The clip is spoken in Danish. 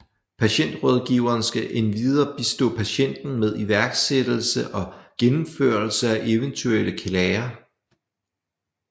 Patientrådgiveren skal endvidere bistå patienten med iværksættelse og gennemførelse af eventuelle klager